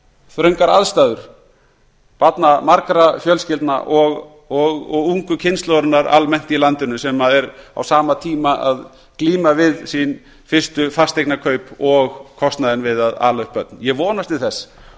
þröngar aðstæður barnmargra fjölskyldna og ungu kynslóðarinnar almennt í landinu sem er á sama tíma að glíma við sín fasteignakaup og kostnaðinn við að ala upp börn ég vonast til þess